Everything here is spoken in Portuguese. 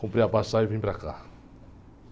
Comprei a passagem e vim para cá.